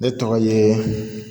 Ne tɔgɔ ye